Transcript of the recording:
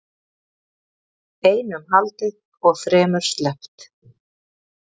Einum haldið og þremur sleppt